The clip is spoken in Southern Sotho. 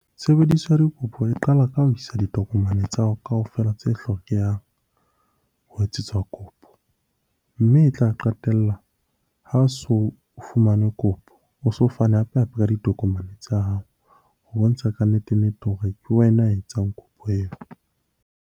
Tshebediso ya dikopo e qala ka ho isa ditokomane tsa hao kaofela tse hlokehang ho etsetswa kopo. Mme e tla qetella ha o so fumane kopo, o so fana hape-hape ka ditokomane tsa hao. Ho bontsha kannete-nnete hore ke wena ya etsang kopo eo.